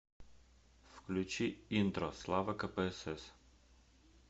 включи интро слава кпсс